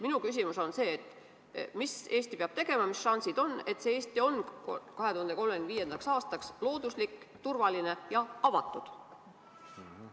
Minu küsimus on: mida Eesti peab tegema, et olla 2035. aastaks looduslik, turvaline ja avatud?